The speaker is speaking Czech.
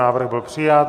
Návrh byl přijat.